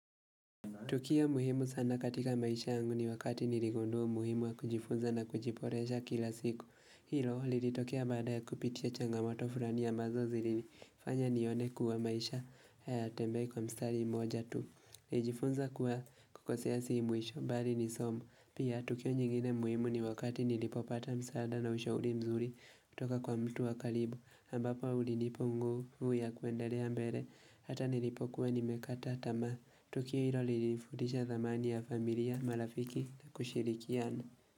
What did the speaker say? Tukio muhimu sana katika maisha yangu ni wakati niligundua umuhimu wa kujifunza na kujiboresha kila siku. Hilo lilitokea baada ya kupitia changamoto fulani ambazo zilinifanya nione kuwa maisha haya tembei kwa mstari mmoja tu. Nilijifunza kuwa kukosea si mwisho, bali ni somu. Pia, tukio nyingine muhimu ni wakati nilipopata msaada na ushauri mzuri kutoka kwa mtu wa karibu, ambapo ulinipa nguvu ya kuendelea mbele Hata nilipokuwa nimekata tamaa. Tukio hilo lilinifundisha thamani ya familia marafiki na kushirikiana.